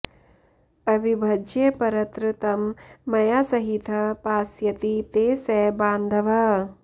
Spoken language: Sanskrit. अविभज्य परत्र तं मया सहितः पास्यति ते स बान्धवः